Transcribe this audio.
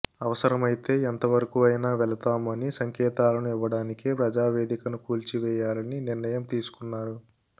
అవసరమైతే ఎంతవరకు అయినా వెళతాము అనే సంకేతాలను ఇవ్వడానికే ప్రజావేదికను కూల్చివేయాలనే నిర్ణయం తీసుకున్నారు